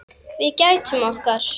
Við gætum okkar.